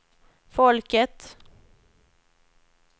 folket